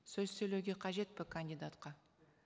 сөз сөйлеуге қажет пе кандидатқа